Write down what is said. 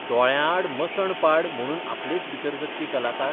दोळ्यां आड मसण पाड म्हणून आपलेच भितर जगपी कलाकार?